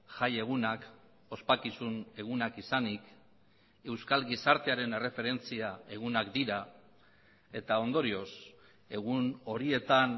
jaiegunak ospakizun egunak izanik euskal gizartearen erreferentzia egunak dira eta ondorioz egun horietan